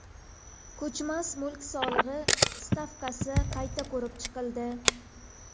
Ko‘chmas mulk solig‘i stavkasi qayta ko‘rib chiqildi.